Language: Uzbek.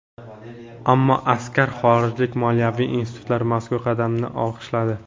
Ammo aksar xorijlik moliyaviy institutlar mazkur qadamni olqishladi.